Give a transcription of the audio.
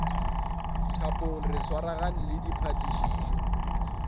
thapong re swaragane le diphatišišo